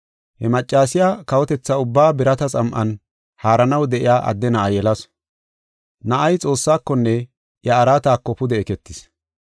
He maccasiya kawotethaa ubbaa birata xam7an haaranaw de7iya adde na7a yelasu. Na7ay Xoossaakonne iya araatako pude eketis.